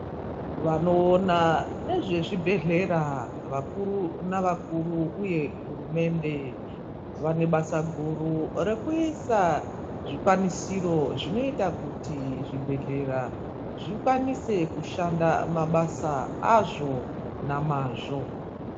Vanoona ngezvezvibhedhlera, vakuru navakuru uye hurumende ,vane basa guru rekuisa zvikwanisiro zvinoita kuti zvibhedhlera zvikwanise kushanda mabasa azvo nemazvo.